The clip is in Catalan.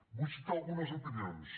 vull citar algunes opinions